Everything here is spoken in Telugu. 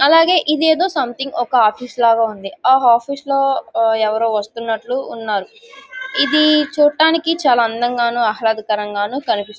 అలాగే ఇదేదో సంథింగ్ ఒక ఆఫీస్ లాగా ఉంది. ఆ ఆఫీస్ లో ఎవరో వస్తున్నట్టు ఉన్నారు. ఇది చూడ్డానికి చాలా అందంగానూ ఆహ్లదకరంగాను కనిపిస్తుం--